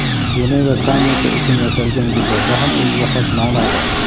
Jeneva sammiti uchun yasalgan gullarda ham o‘ziga xos ma’no bor.